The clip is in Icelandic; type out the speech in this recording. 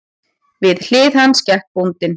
Við hlið hans gekk bóndinn.